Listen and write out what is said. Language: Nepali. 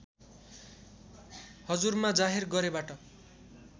हजुरमा जाहेर गरेबाट